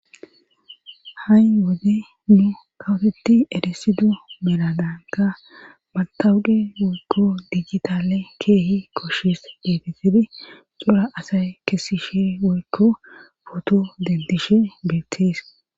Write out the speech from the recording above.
Ha'i wode nu kawotetti eresidu merananka maltawude woykko digitale keehi koshshes geetisebi xora asay kesishe woykko footo dentishe beettees.